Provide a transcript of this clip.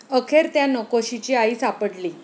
अखेर त्या 'नकोशी'ची आई सापडली